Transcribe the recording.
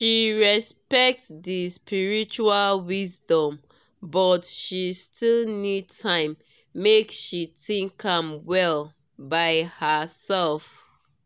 she respect di spiritual wisdom but she still need time make she think am well by herself.